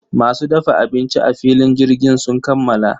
Masu dafa abinci a filin jirgin sun kammala.